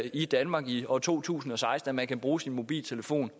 i danmark i år to tusind og seksten at man kan bruge sin mobiltelefon